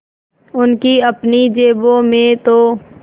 उनकी अपनी जेबों में तो